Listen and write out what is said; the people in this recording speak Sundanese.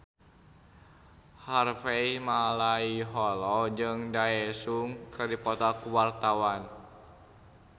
Harvey Malaiholo jeung Daesung keur dipoto ku wartawan